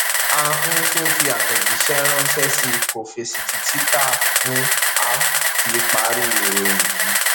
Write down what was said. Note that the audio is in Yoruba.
ahun tún fi àtẹjíṣẹ ránṣẹ sí i kó fèsì títí tá hun a fi parí ìròyìn yìí